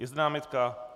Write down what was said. Je zde námitka?